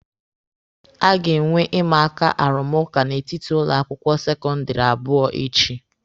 A ga-enwe imaaka arụmụka n'etiti ụlọ akwụkwọ sekọndịrị abụọ echi.